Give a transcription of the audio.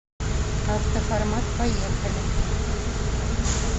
автоформат поехали